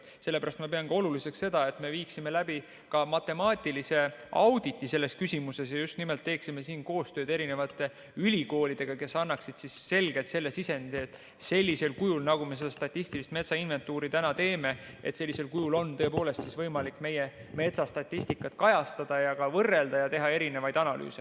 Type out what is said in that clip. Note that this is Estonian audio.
Sellepärast ma pean oluliseks seda, et me viiksime läbi ka matemaatilise auditi selles küsimuses ja teeksime siin koostööd erinevate ülikoolidega, kes annaksid selgelt sisendi, et sellisel kujul, nagu me seda statistilist metsainventuuri täna teeme, on tõepoolest võimalik meie metsastatistikat kajastada ja ka võrrelda ja teha erinevaid analüüse.